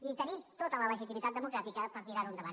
i tenim tota la legitimitat democràtica per tirar ho endavant